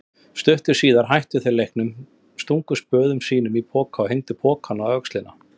Stuttu síðar hættu þau leiknum, stungu spöðum sínum í poka og hengdu pokann á öxlina.